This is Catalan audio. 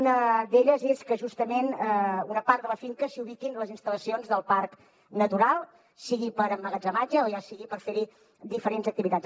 una d’elles és que justament en una part de la finca s’hi ubiquin les instal·lacions del parc natural sigui per a emmagatzematge o sigui per fer hi diferents activitats